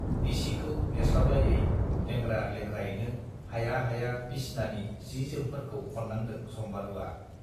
बिसिखौ नेस्लाबलायै लेंग्रा-लेंग्रायैनो हाया हाया बिसनानि जि-जोमफोरखौ खननांदों सम्बारुवा।